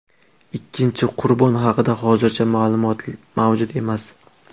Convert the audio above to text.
Ikkinchi qurbon haqida hozircha ma’lumot mavjud emas.